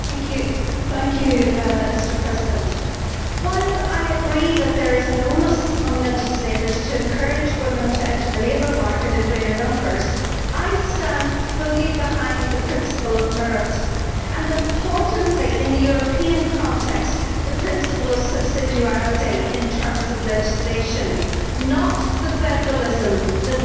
Mr President, while I agree that there is an onus on legislators to encourage women to enter the labour market in greater numbers, I stand fully behind the principle of merit and importantly in the European context the principle of subsidiarity in terms of legislation, and not the federalism that we have seen here today.